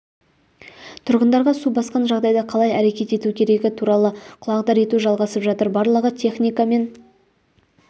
тұрғындарға су басқан жағдайда қалай әрекет ету керегі туралы құлағдар ету жалғасып жатыр барлығы техникамен